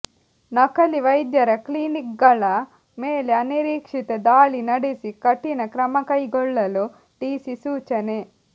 ನಕಲಿ ವೈದ್ಯರ ಕ್ಲಿನಿಕ್ಗಳ ಮೇಲೆ ಅನಿರೀಕ್ಷಿತ ದಾಳಿ ನಡೆಸಿ ಕಠಿಣ ಕ್ರಮಕೈಗೊಳ್ಳಲು ಡಿಸಿ ಸೂಚನೆ